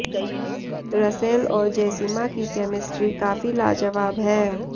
Russell और जेसिमा की केमिस्ट्री काफी लाजवाब है